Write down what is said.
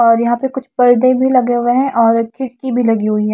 और यहां पे कुछ पर्दे भी लगे हुए हैं और खिटकी भी लगे हुए है।